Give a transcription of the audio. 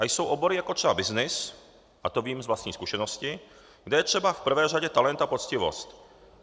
A jsou obory, jako třeba byznys, a to vím z vlastní zkušenosti, kde je třeba v prvé řadě talent a poctivost.